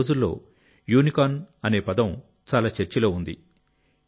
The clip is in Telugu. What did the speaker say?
ఈ రోజుల్లో యూనికార్న్ అనే పదం చాలా చర్చలో ఉంది